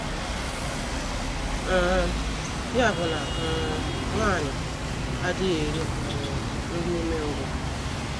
um Ya bụ na um, nwanyị a adịghị eri um “ nri umengwụ. ”